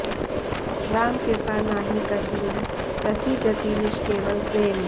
राम कृपा नहि करहिं तसि जसि निष्केवल प्रेम